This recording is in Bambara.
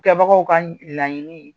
Kɛbagaw ka laɲini